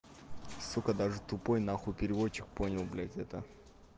сука даже тупой нахуй переводчик понял блядь это